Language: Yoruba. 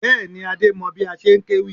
Bẹ́ẹ̀ni, Adé mọ bí a ṣe ń kéwì